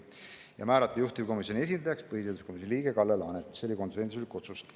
Ja määrata juhtivkomisjoni esindajaks põhiseaduskomisjoni liige Kalle Laanet, see oli konsensuslik otsus.